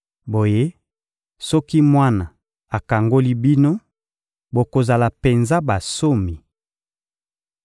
Boye, soki Mwana akangoli bino, bokozala penza bansomi.